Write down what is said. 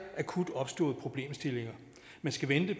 akut opståede problemstillinger man skal vente